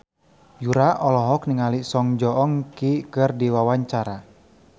Yura olohok ningali Song Joong Ki keur diwawancara